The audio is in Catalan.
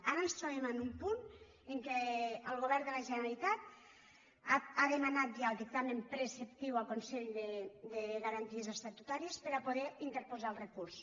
ara ens trobem en un punt en què el govern de la generalitat ha demanat ja el dictamen preceptiu al consell de garanties estatutàries per a poder in·terposar el recurs